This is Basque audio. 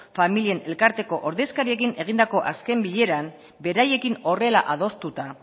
familien elkarteko ordezkariekin egindako azken bileran beraiekin horrela adostuta